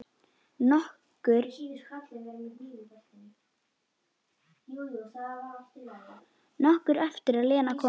Nokkru eftir að Lena kom.